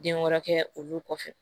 Den wɔɔrɔ kɛ olu kɔfɛ